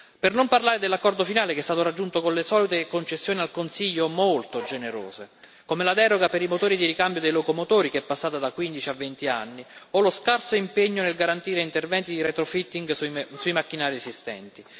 Per non parlare dell'accordo finale, che è stato raggiunto con le solite concessioni molto generose al Consiglio, come la deroga per i motori di ricambio dei locomotori, che è passata da quindici a venti anni o lo scarso impegno nel garantire interventi di retrofitting in sui macchinari esistenti.